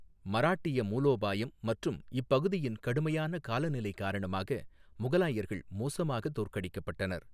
மராட்டிய மூலோபாயம் மற்றும் இப்பகுதியின் கடுமையான காலநிலை காரணமாக முகலாயர்கள் மோசமாக தோற்கடிக்கப்பட்டனர்.